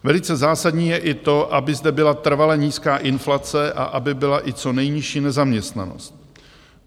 Velice zásadní je i to, aby zde byla trvale nízká inflace a aby byla i co nejnižší nezaměstnanost.